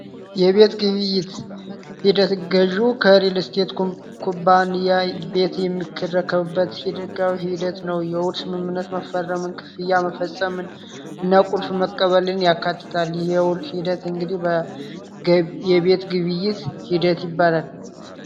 የቤት ሂደት ገዢው ሪል ስቴት ኩባንያ የምትረከብበት ሂደት ነው ስምምነት መፈረመ ሂደት እንግዲህ የቤት ግብይት ሂደት ይባላል